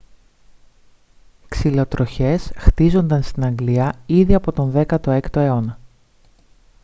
ξυλοτροχιές χτίζονταν στην αγγλία ήδη από τον 16ο αιώνα